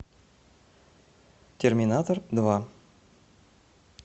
терминатор два